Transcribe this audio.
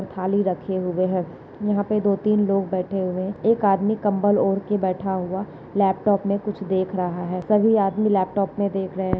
थाली रखे हुए है यहाँ पे दो तीन लोग बैठे हुए एक आदमी कम्बल ओढ़ के बैठा हुआ लैपटॉप मे कुछ देख रहा है सभी आदमी लैपटॉप मे देख रहे।